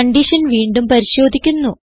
condition വീണ്ടും പരിശോധിക്കുന്നു